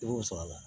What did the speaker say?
I b'o sɔrɔ a la